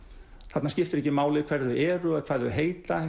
þarna skiptir ekki máli hver þau eru eða hvað þau heita